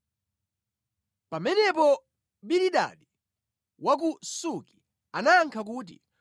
Pamenepo Bilidadi wa ku Suki anayankha kuti,